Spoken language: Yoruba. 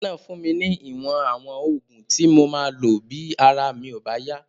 Dókítà náà fún mi ní ìwọ̀n àwọn oògùn tí mo máa lò bí ara mi ò bá yá